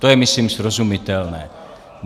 To je myslím srozumitelné.